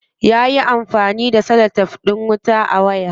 Yayi amfani da celotef din wuta a wayar.